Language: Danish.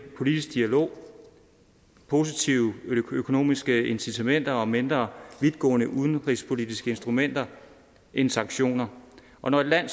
politisk dialog positive økonomiske incitamenter og mindre vidtgående udenrigspolitiske instrumenter end sanktioner og når et land